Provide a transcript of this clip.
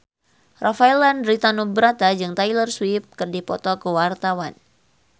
Rafael Landry Tanubrata jeung Taylor Swift keur dipoto ku wartawan